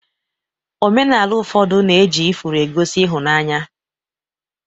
Omenala ụfọdụ na-eji ifuru egosi ịhụnanya